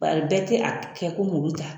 Bɛɛ tɛ a kɛ komi olu ta